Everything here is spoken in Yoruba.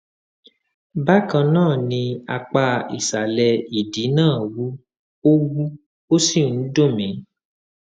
bákan náà apá ìsàlẹ ìdí náà wú ó wú ó sì ń dún mi